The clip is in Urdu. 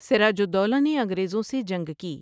سراج الدولہ نے انگریزوں سے جنگ کی ۔